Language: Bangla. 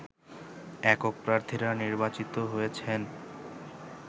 একক প্রার্থীরা নির্বাচিত হয়েছেন